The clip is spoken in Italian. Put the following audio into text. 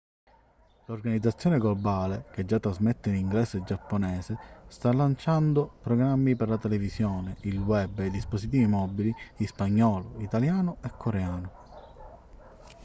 l'organizzazione globale che già trasmette in inglese e giapponese sta lanciando programmi per la televisione il web e i dispositivi mobili in spagnolo italiano e coreano